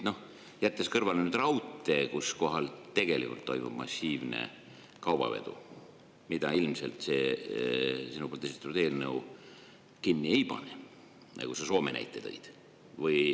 Noh, jättes kõrvale raudtee, kus tegelikult toimub massiivne kaubavedu, mida ilmselt see sinu esitatud eelnõu kinni ei pane, nagu sa Soome näite tõid.